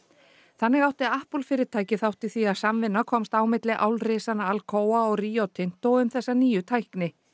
þannig átti fyrirtækið þátt í því að samvinna komst á milli Alcoa og Rio Tinto um þessa nýju tækni